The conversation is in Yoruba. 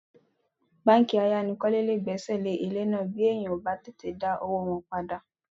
Báńkì ayánilówókọ́lé lè gbẹ́sẹ̀ lé ilé náà bí èèyàn ò bá tètè dá owó wọn padà